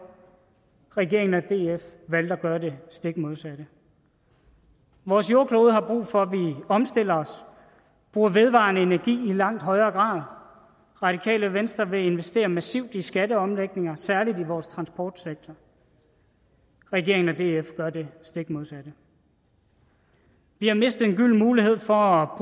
regeringen og df valgte at gøre det stik modsatte vores jordklode har brug for at vi omstiller os og bruger vedvarende energi i langt højere grad radikale venstre vil investere massivt i skatteomlægninger særlig i vores transportsektor regeringen og df gør det stik modsatte vi har mistet en gylden mulighed for